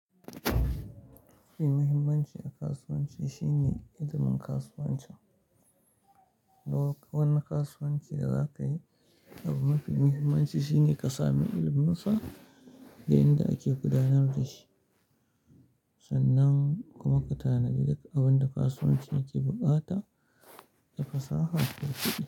Abun muhimmanci a kasuwanci shine ilimin kasuwancin. Wani kasuwanci da za ka yi, abun mafi muhimmanci shine ka sami iliminsa da yadda ake gudanar da shi sannan kuma ka tanadi duk abin da kasuwancin yake bukata da fasaha yafi duka.